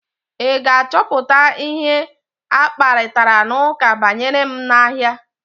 Ị ga-achọpụta ihe akparitara n'ụka banyere m n'ahịa?